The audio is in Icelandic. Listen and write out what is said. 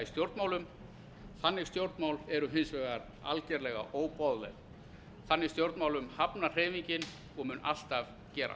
stjórnmálum þannig stjórnmál eru hins vegar algerlega óboðleg þannig stjórnmálum hafnar hreyfingin og mun alltaf gera